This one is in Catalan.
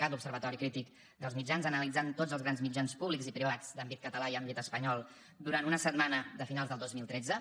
cat l’observatori crític dels mitjans analitzant tots els grans mitjans públics i privats d’àmbit català i àmbit espanyol durant una setmana a finals del dos mil tretze